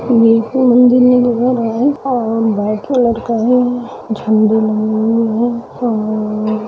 ये एक मंदिर में दिखा रहा है और व्हाइट कलर का है